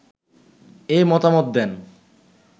এ মতামত দেন